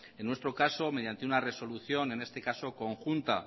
en nuestro caso mediante una resolución en este caso conjunta